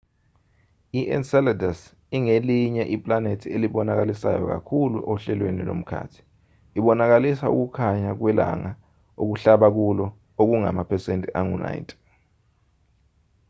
i-enceladus ingelinye iplanethi elibonakalisayo kakhulu ohlelweni lomkhathi ibonakalisa ukukhanya kwelanga okuhlaba kulo okungamaphesenti angu-90